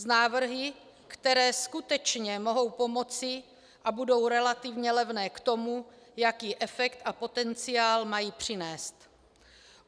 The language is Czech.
S návrhy, které skutečně mohou pomoci a budou relativně levné k tomu, jaký efekt a potenciál mají přinést.